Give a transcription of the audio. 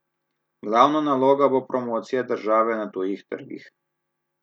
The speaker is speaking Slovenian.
Glavna naloga bo promocija države na tujih trgih.